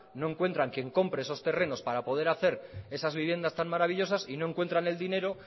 no encuentran quien compre esos terrenos para poder hacer esas viviendas tan maravillosas y no encuentran el dinero